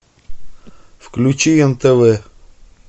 включи нтв